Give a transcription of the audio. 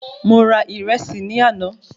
Mo ra ìrẹsì ní àná